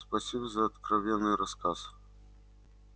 спасибо за откровенный рассказ